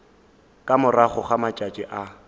ka morago ga matšatši a